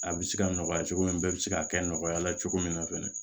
A bɛ se ka nɔgɔya cogo min bɛɛ bɛ se ka kɛ nɔgɔya la cogo min na fɛnɛ